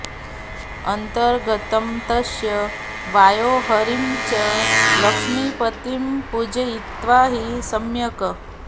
अन्तर्गतं तस्य वायोर्हरिं च लक्ष्मीपतिं पूजयित्वा हि सम्यक्